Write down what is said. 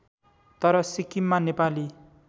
तर सिक्किममा नेपाली